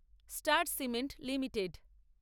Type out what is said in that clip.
star Cement limited